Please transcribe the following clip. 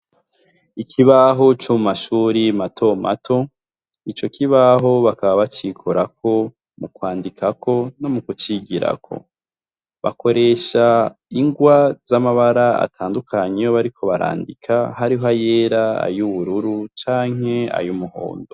ikibaho co mu mashuri matomato. Ico kibaho bakaba bacikorako mu kwandikako no mu kucigirako. Bakoresha ingwa z'amabara atandukanye bariko barandika hariho ayera, ay'ubururu canke ay umuhondo.